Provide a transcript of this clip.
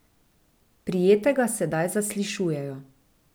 Prijetega sedaj zaslišujejo.